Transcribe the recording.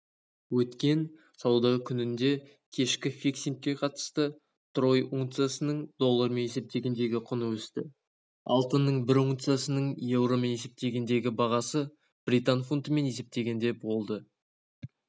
өткен сауда күніндегікешкі фиксингке қатысты трой унциясының доллармен есептегендегі құны өсті алтынның бір унциясының еуромен есептегендегі бағасы британ фунтымен есептегенде болды